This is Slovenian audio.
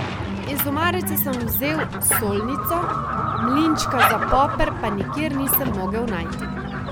Iz omarice sem vzel solnico, mlinčka za poper pa nikjer nisem mogel najti.